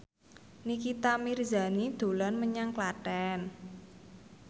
Nikita Mirzani dolan menyang Klaten